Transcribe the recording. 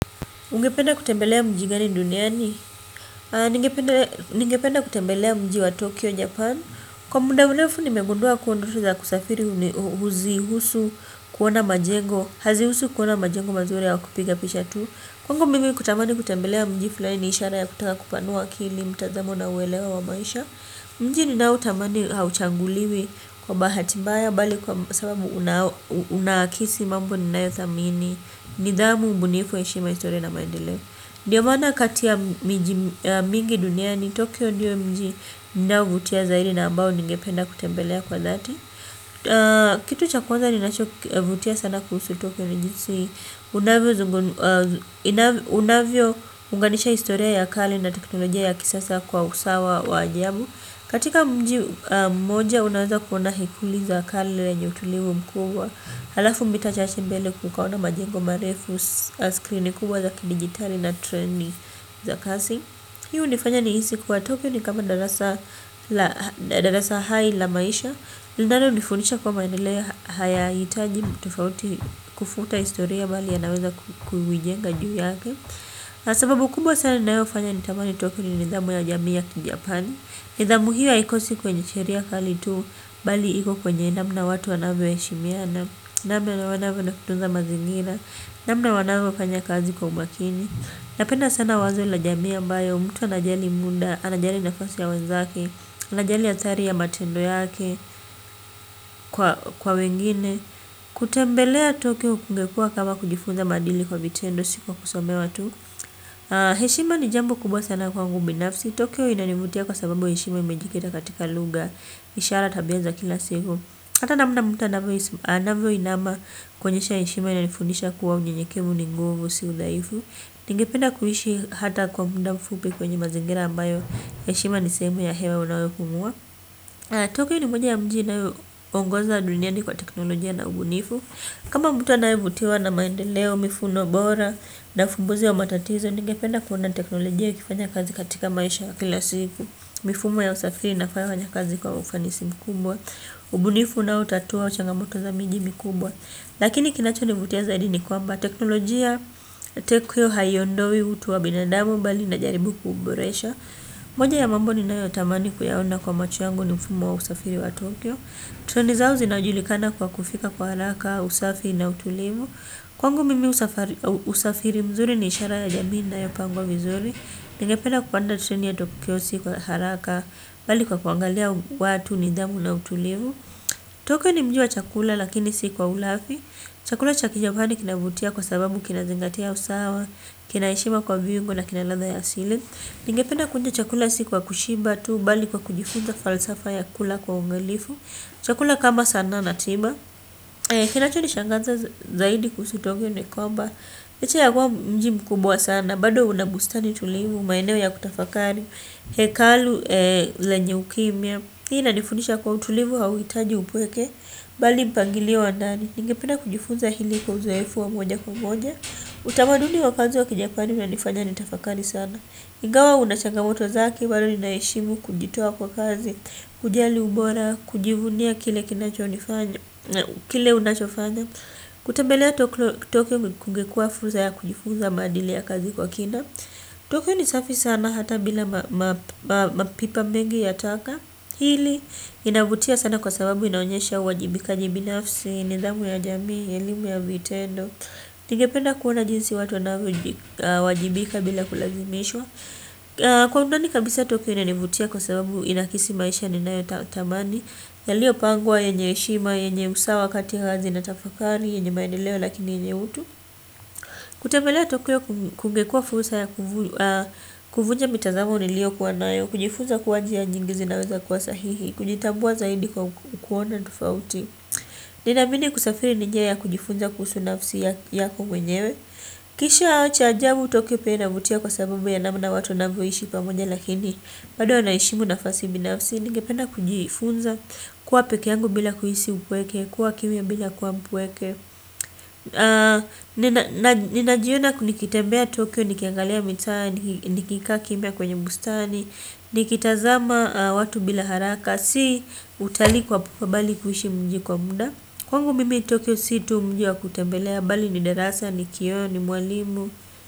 Ungependa kutembelea mji gani duniani? Ningependa kutembelea mji wa Tokyo, Japan. Kwa munda mrefu, nimegundua kuwa ndoto za kusafiri huzi husu kuona majengo. Hazi husu kuona majengo mazuri au kupiga picha tu. Kwangu mingi kutamani kutembelea mji fulani ni ishara ya kutaka kupanua akili, mtazamo na uelewa wa maisha. Mji ninaotamani hauchanguliwi kwa bahati mbaya bali kwa sababu unaoakisi mambo ninayothamini. Nidhamu ubunifu heshima historiana maendeleo. Ndiyo maana kati ya miji mingi duniani Tokyo ndiyo mji ninaovutiwa zaidi na ambao ningependa kutembelea kwa dhati. Kitu cha kwanza ninachovutiwa sana kuhusu Tokyo ni jinsi. Inavyo unganisha historia ya akali na teknolojia ya kisasa kwa usawa wa ajabu. Katika mji mmoja unaweza kuona hekulu za kale zenye utulivu mkubwa. Halafu mita chache mbele kukawa na majengo marefu screeni kubwa za kidigitali na treni za kasi. Hii hunifanya nihisi kuwa Tokyo ni kama darasa hai la maisha linalonifundisha kwamba ni ile hayahitaji tofauti kufuta historia bali yanaweza kuiijenga juu yake. Na sababu kubwa sana inayofanya ni tamani Tokyo ni nidhamu ya jamii ya kijapani nidhamu hiyo haikosi kwenye sheria kali tu, bali iko kwenye namna watu wanavyoheshimiana, namna wanavyo na kutunza mazingira, namna wanavyofanya kazi kwa umakini. Napenda sana wazo la jami ambayo, mtu anajali muda, anajali nafasi ya wenzake, anajali athari ya matendo yake, kwa wengine, kutembelea Tokyo kungekuwa kama kujifunza maadili kwa vitendo si kwa kusomewa tu. Heshima ni jambo kubwa sana kwangu binafsi Tokyo inanivutia kwa sababu heshima imejikita katika luga. Ishara tabia za kila siku. Hata namna mtu anavyoinama kuonyesha heshima inanifundisha kuwa unyenyekevu ni nguvu si udhaifu. Ningependa kuishi hata kwa muda mfupi kwenye mazingira ambayo heshima ni sehemu ya hewa unayopumua Tokyo ni moja ya mji inayoongoza duniani kwa teknolojia na ubunifu. Kama mtu anayevutiwa na maendeleo, mifumo, bora, na uvumbuzi wa matatizo, ningependa kuona teknolojia ikifanya kazi katika maisha kila siku. Mifumo ya usafiri inafanya kazi kwa ufanisi mkubwa, ubunifu unaoutatua changamoto za miji mkubwa. Lakini kinachonivutia zaidi ni kwamba teknolojia tokyo haiondoi utu wa binadamu bali inajaribu kuboresha. Moja ya mambo ninayotamani kuyaona kwa macho yangu ni mfumo wa usafiri wa Tokyo. Treni zao zinajulikana kwa kufika kwa haraka, usafi na utulivu. Kwangu mimi usafiri mzuri ni ishara ya jamii inayopangwa vizuri. Ningependa kupanda treni ya Tokyo si kwa haraka bali kwa kuangalia watu, nidhamu na utulivu Tokio ni mji wa chakula lakini si kwa ulafi. Chakula cha kijaoani kinavutia kwa sababu kinazingatia usawa. Kina heshima kwa viungo na kina ladha ya asili. Ningependa kuonja chakula si kwa kushiba tu bali kwa kujifunza falsafa ya kula kwa uangalifu. Chakula kama sana na tima. Kinachoni shanganza zaidi kuhusu Tokyo ni kwamba licha ya kuwa mji mkubwa sana bado una bustani tulivu, maeneo ya kutafakari. Hekalu, lenye ukimya. Hii inanifundisha kwa utulivu hauhitaji upweke. Bali mpangilio wa ndani. Ningependa kujifunza hili kwa uzoefu wa moja kwa moja. Utamaduni wa kazi wa kijapani unanifanya nitafakari sana ingawa una changamoto zake. Bado nina heshimu kujitoa kwa kazi. Kujali ubora, kujivunia kile unachofanya. Kutembelea tokyo kungekuwa fursa ya kujifuza maadili ya kazi kwa kina Tokyo ni safi sana hata bila mapipa mengi ya taka. Hili linavutia sana kwa sababu inaonyesha uwajibikaji binafsi. Nidhamu ya jamii, elimu ya vitendo. Ningependa kuona jinsi watu wanavyowajibika bila kulazimishwa. Kwa undani kabisa tokyo inanivutia kwa sababu inakisi maisha ninayo tamani. Yaliyo pangwa, yenye heshima, yenye usawa kati hazi na tafakari, yenye maendeleo lakini yenyewe tu. Kutembelea tokyo kungekuwa fursa ya kuvunja mitazamo uliyo kuwa nayo. Kujifunza kuwa njia nyingi zinazokuwa sahihi, kujitambua zaidi kwa kuona tofauti. Ninaamini kusafiri ni njia ya kujifunza kuhusu nafsi yako mwenyewe. Kisha cha ajabu tokyo pia inavutia kwa sababu ya namna watu wanavyoishi pamoja lakini bado wanaheshimu nafasi binafsi ningependa kujifunza kuwa peke yangu bila kuhisi umpweke. Kuwa kimya bila kuwa mpweke. Ninajiona kunikitembea tokyo nikiangalia mitaa. Nikika kimya kwenye bustani. Nikitazama watu bila haraka. Si utalii kwa pupa bali kuishi mji kwa muda. Kwangu mimi Tokyo si tu mji wa kutembelea bali ni darasa ni kioo ni mwalimu.